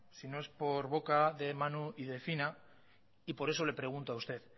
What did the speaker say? si no es por boca de manu y de fina y por eso le pregunto a usted